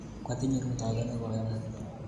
Kwatinye rutoito ne koy amut